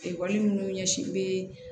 Ekɔli minnu ɲɛsinnen bɛ